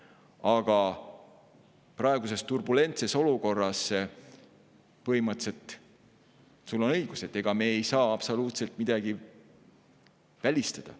Aga põhimõtteliselt on sul õigus – ega me ei saa praeguses turbulentses olukorras absoluutselt mitte midagi välistada.